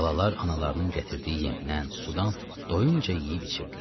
Balalar analarının gətirdiyi yemdən, sudan doyunca yeyib içirdilər.